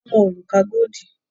Wọn wo òrùka godi